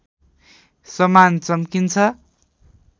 समान चम्किन्छ